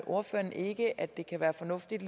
ordføreren ikke at det kan være fornuftigt